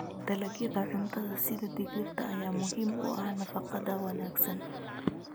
Dalagyada cuntada sida digirta ayaa muhiim u ah nafaqada wanaagsan.